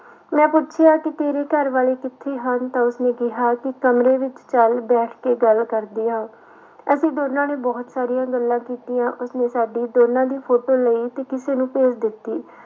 ਮੈਂ ਪੁੱਛਿਆ ਕਿ ਤੇਰੇ ਘਰ ਵਾਲੇ ਕਿੱਥੇ ਹਨ ਤਾਂ ਉਸਨੇ ਕਿਹਾ ਕਿ ਕਮਰੇ ਵਿੱਚ ਚੱਲ ਬੈਠ ਕੇ ਗੱਲ ਕਰਦੇ ਹਾਂ। ਅਸੀਂ ਦੋਨਾਂ ਨੇ ਬਹੁਤ ਸਾਰੀਆਂ ਗੱਲਾਂ ਕੀਤੀਆਂ ਉਸਨੇ ਸਾਡੀ ਦੋਨਾਂ ਦੀ ਫੋੋਟੋ ਲਈ ਤੇ ਕਿਸੇ ਨੂੂੰ ਭੇਜ ਦਿੱਤੀ।